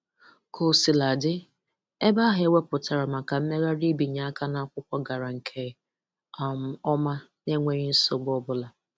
Kosiladị, ebe ahụ e wepụtara maka mmegharị ibinye áká n'akwụkwọ gara nke um ọma na-enweghi nsogbu ọ bụla.